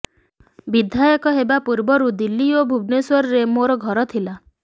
ବିଧାୟକ ହେବା ପୂର୍ବରୁ ଦିଲ୍ଲୀ ଓ ଭୁବନେଶ୍ୱରରେ ମୋର ଘର ଥିଲା